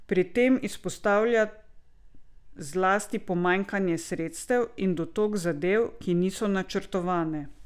Pri tem izpostavlja zlasti pomanjkanje sredstev in dotok zadev, ki niso načrtovane.